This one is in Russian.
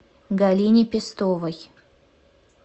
галине пестовой